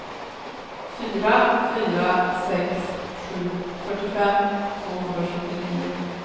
fyra fyra sex sju fyrtiofem tvåhundrasjuttionio